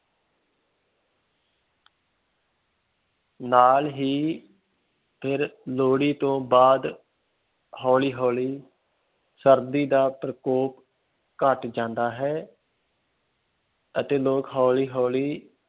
ਨਾਲ ਹੀ ਫਿਰ ਲੋਹੜੀ ਤੋਂ ਬਾਅਦ ਹੌਲੀ ਹੌਲੀ ਸਰਦੀ ਦਾ ਪ੍ਰਕੋਪ ਘੱਟ ਜਾਂਦਾ ਹੈ ਅਤੇ ਲੋਕ ਹੌਲੀ ਹੌਲੀ